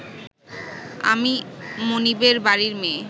আমি মনিবের বাড়ির মেয়ে